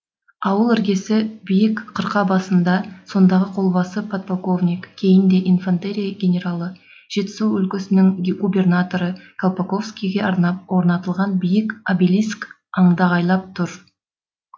ауыл іргесі биік қырқа басында сондағы қолбасы подполковник кейінде инфантерия генералы жетісу өлкесінің губернаторы колпаковскийге арнап орнатылған биік обелиск андағайлап тұр